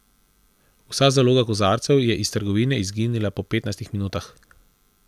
Vsa zaloga kozarcev je iz trgovine izginila po petnajstih minutah.